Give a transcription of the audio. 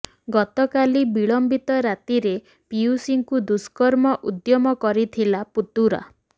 ଗତକାଲି ବିଳମ୍ବିତ ରାତିରେ ପିଉସୀଙ୍କୁ ଦୁଷ୍କର୍ମ ଉଦ୍ୟମ କରିଥିଲା ପୁତୁରା